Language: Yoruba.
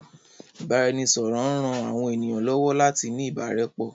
Ìbáraẹnisọ̀rọ̀ maa n ran àwọn ènìyàn lọ́wọ́ láti ní ìbárẹ́pọ́